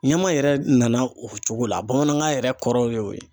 Ɲama yɛrɛ nana o cogo la bamanankan yɛrɛ kɔrɔ y'o ye.